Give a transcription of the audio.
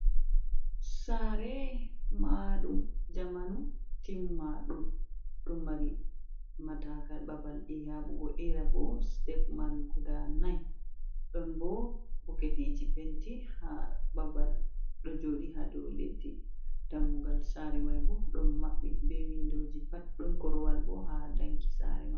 Saare mahaɗum zamanu timma ɗum, ɗo mari matakal babal yaɓugo era, bo step man guda nai, ɗon bo boketiji penti ha babal ɗo joɗi ha do leddi, dammugal saare mai bo do maɓɓi be windoji pat, ɗon korowal bo ha danki saare mai.